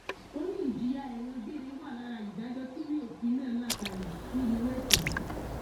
ó ní ìjìyà ẹwọn gbére wà lára ìdájọ tíwèé òfin náà la kalẹ fún irú ẹṣẹ yìí